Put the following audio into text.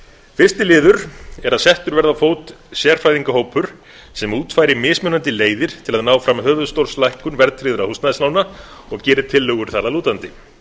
fyrsti liður er að settur verði á fót sérfræðingahópur sem útfæri mismunandi leiðir til að ná fram höfuðstólslækkun verðtryggðra húsnæðislána og geri tillögur þar að lútandi